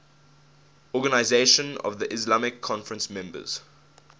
organisation of the islamic conference members